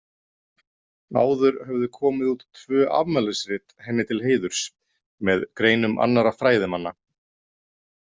Áður höfðu komið út tvö afmælisrit henni til heiðurs, með greinum annarra fræðimanna.